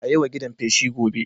A yi wa gidan feshi gobe